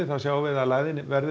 má sjá að lægðin verður